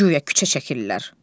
Guya küçə çəkirlər.